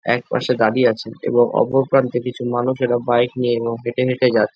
একপাশে দাঁড়িয়ে আছে এবং ওপর প্রান্তে কিছু মানুষেরা বাইক নিয়ে এবং হেটে হেটে যাচ্ছে।